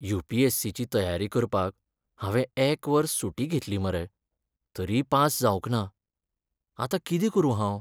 You. P. S. C. ची तयारी करपाक हांवें एक वर्स सुटी घेतली मरे, तरीय पास जावंक ना. आतां कितें करूं हांव?